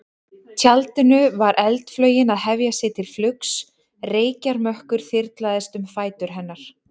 tjaldinu var eldflaugin að hefja sig til flugs, reykjarmökkur þyrlaðist um fætur hennar.